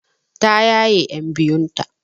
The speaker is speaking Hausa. Ta yaye ƴan biyun ta.